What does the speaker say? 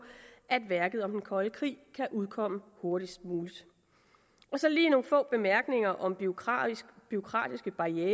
at værket om den kolde krig kan udkomme hurtigst muligt så lige nogle få bemærkninger om bureaukratiske bureaukratiske barrierer